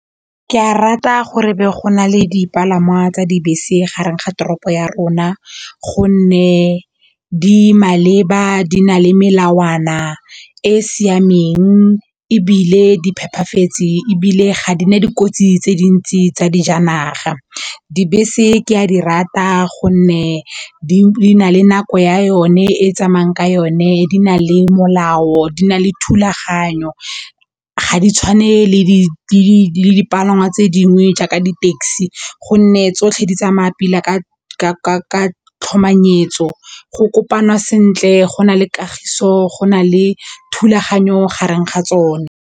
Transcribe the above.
Ke a rata gore go nale dipalangwa tsa dibese gareng ga toropo ya rona gonne di maleba di na le melawana e e siameng ebile di phepafetse ebile ga di na dikotsi tse dintsi tsa dijanaga. Dibese ke a di rata gonne di na le nako ya yone e tsamayang ka yone di na le molao, di na le thulaganyo ga di tshwane le dipalangwa tse dingwe jaaka di taxi gonne tsotlhe di tsamaya pila ka tlhomanyetso, go kopana sentle, go na le kagiso, go na le thulaganyo gareng ga tsona.